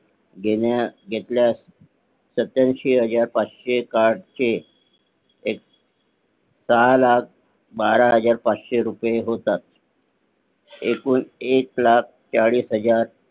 घेतल्यास सत्याऐंशी हजार पाचशे कार्ड चे एक लाख बारा हजार पाचशे रुपये होतात एकूण एक लाख चाळीस हजार